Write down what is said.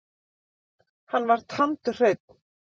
Hann var tandurhreinn.